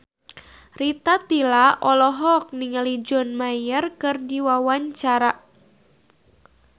Rita Tila olohok ningali John Mayer keur diwawancara